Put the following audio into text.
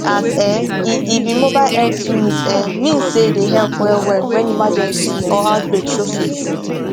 as um e e be mobile health unit um mean say dey help wellwell when emergency or outbreak show face